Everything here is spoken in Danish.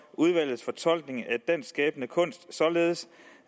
udvalgets fortolkning af dansk skabende kunst således